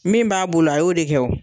Min b'a bolo , a y'o de kɛ wo.